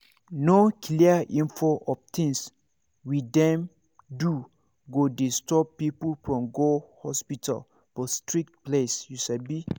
no clear info of things we dem do go dey stop people from go hospital for strict place you sabi